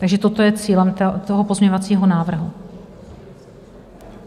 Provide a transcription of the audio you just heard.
Takže toto je cílem toho pozměňovacího návrhu.